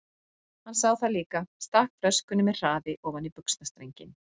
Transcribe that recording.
Hann sá það líka, stakk flöskunni með hraði ofan í buxnastrenginn.